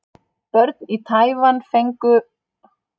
Börn í Taívan fagna páskunum.